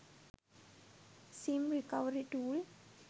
sim recovery tool